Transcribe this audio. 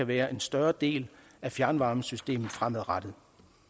være en større del af fjernvarmesystemet fremadrettet